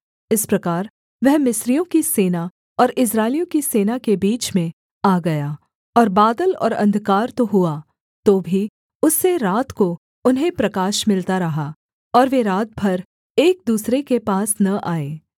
इस प्रकार वह मिस्रियों की सेना और इस्राएलियों की सेना के बीच में आ गया और बादल और अंधकार तो हुआ तो भी उससे रात को उन्हें प्रकाश मिलता रहा और वे रात भर एक दूसरे के पास न आए